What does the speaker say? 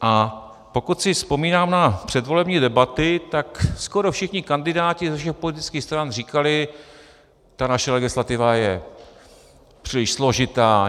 A pokud si vzpomínám na předvolební debaty, tak skoro všichni kandidáti ze všech politických stran říkali: Ta naše legislativa je příliš složitá.